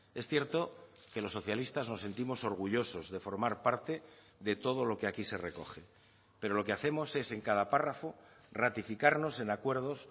es cierto que los socialistas nos sentimos orgullosos de formar parte de todo lo que aquí se recoge pero lo que hacemos es en cada párrafo ratificarnos en acuerdos